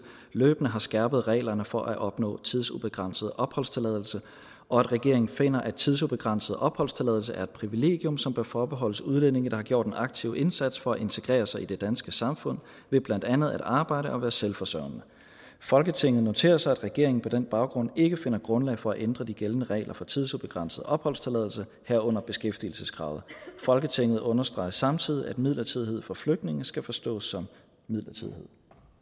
løbende har skærpet reglerne for at opnå tidsubegrænset opholdstilladelse og at regeringen finder at tidsubegrænset opholdstilladelse er et privilegium som bør forbeholdes udlændinge der har gjort en aktiv indsats for at integrere sig i det danske samfund ved blandt andet at arbejde og være selvforsørgende folketinget noterer sig at regeringen på den baggrund ikke finder grundlag for at ændre de gældende regler for tidsubegrænset opholdstilladelse herunder beskæftigelseskravet folketinget understreger samtidig at midlertidighed for flygtninge skal forstås som midlertidighed